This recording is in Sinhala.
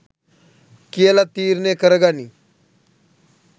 කියලා තීරණය කරගනින්